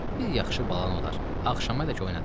Bir yaxşı balan olar, axşamədək oynadaram.